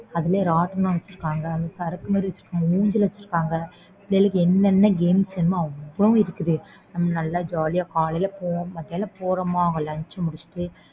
அதுலயும் ராட்டினம் வெச்சுருந்தாங்க சறுக்கு மாதிரி வெச்சிருந்தாங்க ஊஞ்சல் வெச்சிருக்காங்க பிள்ளைங்களுக்கு